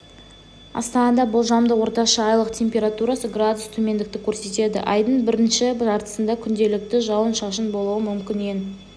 астанада болжамды орташа айлық температурасы градус төмендікті көрсетеді айдың бірінші жартысында күнделікті жауын-шашын болуы мүмкін ең